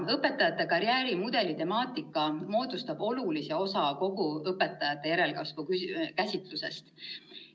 " Õpetajate karjäärimudeli temaatika moodustab olulise osa kogu õpetajate järelkasvu käsitlusest.